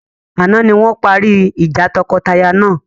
Àná ni wọn parí ìjà tọkọtaya náà.